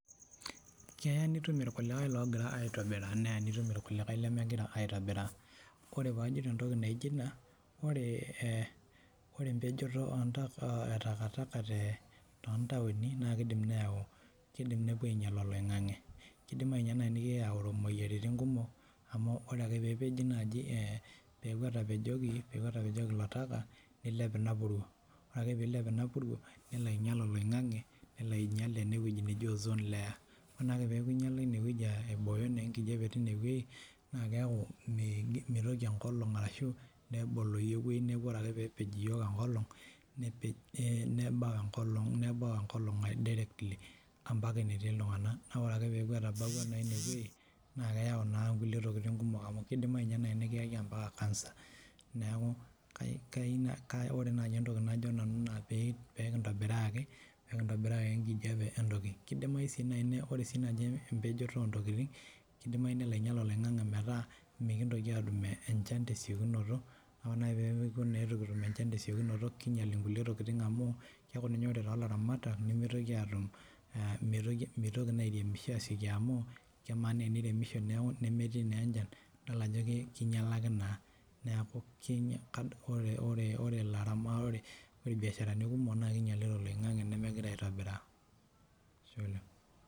Keya nitum irkulikae iloogira aaitobiraa neya nitum irkulikae ilemegira aaitobiraa ore paajito neija, ore empejoto etakataka naakidim neinyal oloing'ang'e naa kidim neyau imoyiaritin amuu oreke pee eji oltaka nilep ina puruo ore ake peyie ilep ina puruo nelo ainyal oloing'ang'e enewueji neji ozone layer nelo aibooyo enkijape teine wueji naa keeku meitoki enkolong aaibori neeku ore ake peebau enkol neilang iltung'ana direct mitoki aata entoki naitoki aibooyo ore naa peeku etabaikia ine wueji naa meitoki aaiboyu naa kidimayu ninye nikiyaki ampaka cancer neeku ore najii enkaji naa pee kintobiraa empejoto oltaka. Ore sii enkae naa ore empejoto oo ntokitin naa kedimayu nimikintoki aatum enchan te siokinoto ore pee itu kitum enchan kinyial kulie tokitin ore ninye too laramatak mitoki naa aairemisho aasioki amuu kelakuwa enchan neeku teniremisho naa metumnenchan ore rbiaasharani kumok naa kinyalakino oloing'ang'e. Ashe oleng.